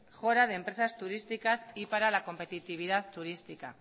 mejora de empresas turísticas y para la competitividad turística